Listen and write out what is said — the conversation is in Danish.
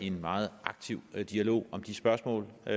en meget aktiv dialog om de spørgsmål og